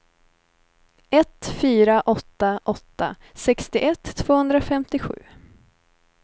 ett fyra åtta åtta sextioett tvåhundrafemtiosju